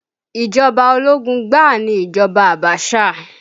Ìjọba ológun gbáà ni ìjọba Abasa